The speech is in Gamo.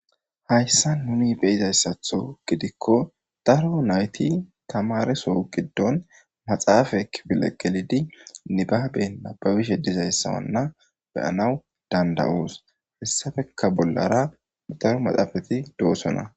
Hayssan nuni be'izayssatho gidikko daro nayti tamaareso giddon maxaafe kifile gelidi nibaabe nabaabishe dizayssanna be'anaw danda'os; hessapekka bollara daro maxaafeti doosonna.